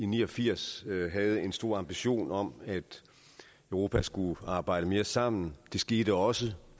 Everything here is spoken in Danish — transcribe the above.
ni og firs havde vi en stor ambition om at europa skulle arbejde mere sammen det skete også